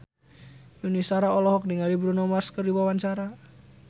Yuni Shara olohok ningali Bruno Mars keur diwawancara